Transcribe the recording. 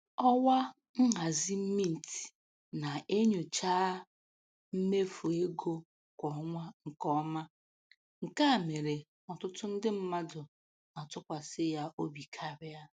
Ọwa nhazi Mint na-enyochaa mmefu ego kwa ọnwa nke ọma, nke a mere n'ọtụtụ ndị mmadụ na-atụkwasị ya obi karịa